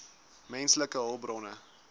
menslike hulpbronne